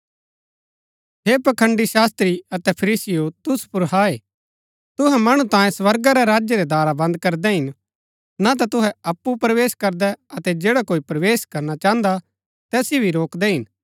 हे पखंड़ी शास्त्री अतै फरीसीयों तुसु पुर हाय तुहै मणु तांयें स्वर्गा रै राज्य रै दारा बन्द करदै हिन ना ता तुहै अप्पु प्रवेश करदै अतै जैडा कोई प्रवेश करना चाहन्दा तैसिओ भी रोकदै हिन